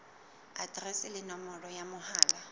aterese le nomoro ya mohala